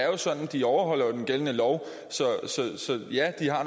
jo sådan at de overholder den gældende lov så ja de har